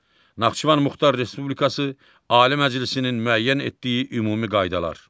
Naxçıvan Muxtar Respublikası Ali Məclisinin müəyyən etdiyi ümumi qaydalar.